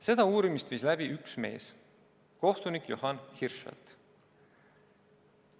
Seda uurimist viis läbi üks mees: kohtunik Johan Hirschfeldt.